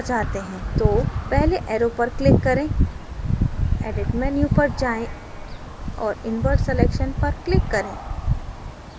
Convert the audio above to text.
तो पहले arrow पर click करें edit menu पर जाएँ और invert selection पर click करें